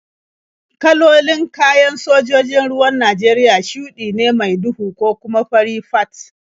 Kalolin kayan sojojin ruwan Najeriya shuɗi ne mai duhu ko kuma fari fat.